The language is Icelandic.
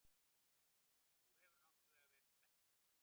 Þú hefur náttúrlega verið spenntur.